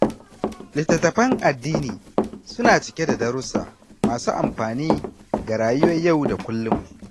Littattafan addini suna cike da darussa masu amfani ga rayuwar yau da kullum.